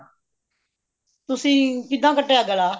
ਤੁਸੀਂ ਕਿੱਦਾਂ ਕੱਟਿਆ ਗਲਾ